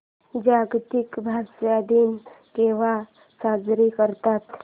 जागतिक भाषा दिन केव्हा साजरा करतात